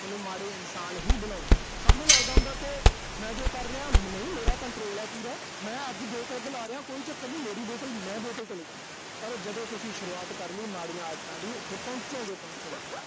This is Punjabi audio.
ਸੋਨੂੰ ਮਾੜੇ ਇਨਸਾਨ ਹੀ ਬਣਾਉਣਾ। ਸਾਨੂੰ ਲਗਦਾ ਹੁੰਦਾ ਵੀ ਮੈਂ ਜੋ ਕਰ ਰਿਹਾਂ, ਨਹੀਂ ਮੇਰਾ control ਆ ਪੂਰਾ। ਮੈਂ ਅੱਜ ਦੋ ਪੈੱਗ ਲਾ ਰਿਹਾ ਕਈ ਚੱਕਰ ਨੀਂ, ਮੇਰੀ ਬੋਤਲ, ਮੈਂ ਬੋਤਲ ਤੇ ਨੀਂ ਜਾਣਾ। ਪਰ ਉਹ ਜਦੋਂ ਤੁਸੀਂ ਸ਼ੁਰੂਆਤ ਕਰਲੀ ਮਾੜੀਆਂ ਆਦਤਾਂ ਦੀ, ਫਿਰ ਉਥੇ ਪਹੁੰਚੋਗੋ ਈ ਪਹੁੰਚੋਂਗੇ।